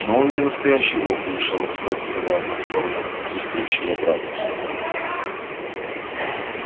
но он не настоящий волк вмешалась бэт вставая на сторону отсутствующего брата